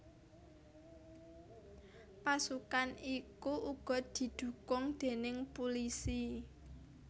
Pasukan iku uga didhukung déning pulisi